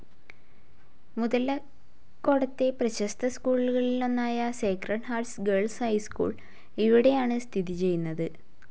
മുതലക്കോടത്തെ പ്രശസ്ത സ്ക്കൂളുകളിലൊന്നായ Sacred Hearts Girls High School ഇവിടെയാണ് സ്ഥിതിചെയ്യുന്നത്.